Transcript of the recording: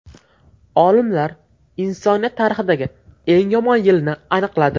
Olimlar insoniyat tarixidagi eng yomon yilni aniqladi.